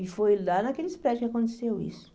E foi lá naqueles prédios que aconteceu isso.